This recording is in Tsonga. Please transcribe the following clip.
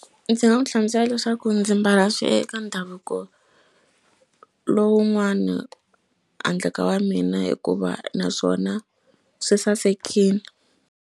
Ndzi nga n'wi hlamusela leswaku ndzi mbala eka ndhavuko lowun'wani handle ka wa mina hikuva naswona swi sasekile.